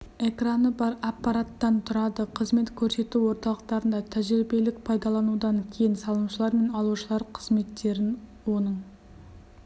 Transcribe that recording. экраны бар аппараттан тұрады қызмет көрсету орталықтарында тәжірибелік пайдаланудан кейін салымшылар мен алушылар қызметтерін оның